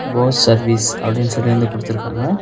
Bose service அப்படின்னு சொல்லி வந்து குடுத்துருக்காங்க.